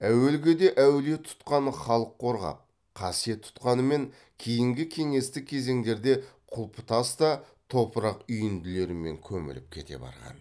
әуелгіде әулие тұтқан халық қорғап қасиет тұтқанымен кейінгі кеңестік кезеңдерде құлыптас та топырақ үйінділерімен көміліп кете барған